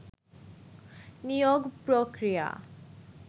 নিয়োগ প্রক্রিয়া